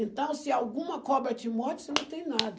Então se alguma cobra te morde, você não tem nada.